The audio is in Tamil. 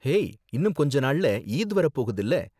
ஹேய், இன்னும் கொஞ்ச நாள்ல ஈத் வர போகுதுல.